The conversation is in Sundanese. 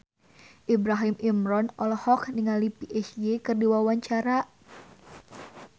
Ibrahim Imran olohok ningali Psy keur diwawancara